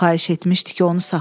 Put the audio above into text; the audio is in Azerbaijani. O xahiş etmişdi ki, onu saxlayım.